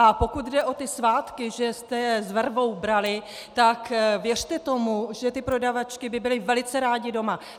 A pokud jde o ty svátky, že jste je s vervou brali, tak věřte tomu, že ty prodavačky by byly velice rády doma.